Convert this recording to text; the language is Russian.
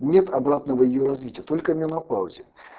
нет обратного её развития только менопаузе